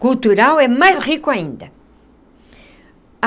Cultural é mais rico ainda.